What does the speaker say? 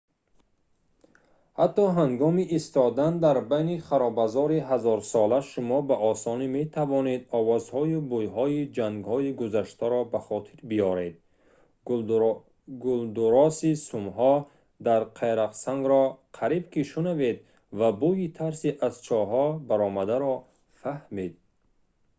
ҳатто ҳангоми истодан дар байни харобазори ҳазорсола шумо ба осонӣ метавонед овозҳою бӯйҳои ҷангҳои гузаштаро ба хотир биёред гулдурроси сумҳо дар қайроқсангро қариб ки шунавед ва бӯйи тарси аз чоҳҳо баромадаро фаҳмед